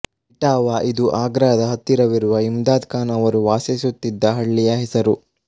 ಇಟಾವಾ ಇದು ಆಗ್ರಾದ ಹತ್ತಿರವಿರುವ ಇಮ್ದಾದ್ ಖಾನ್ ಅವರು ವಾಸಿಸುತ್ತಿದ್ದ ಹಳ್ಳಿಯ ಹೆಸರು